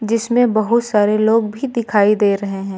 जिसमें बहुत सारे लोग भी दिखाई दे रहे हैं।